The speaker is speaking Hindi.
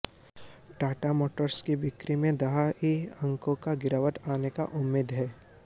टाटा मोटर्स की बिक्री में दहाई अंकों की गिरावट आने की उम्मीद है